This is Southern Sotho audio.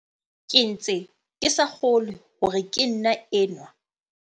Ke ntse ke sa kgolwe hore ke nna enwa.